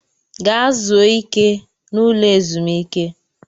Gaa zuo ike n'ụlọ ezumiike!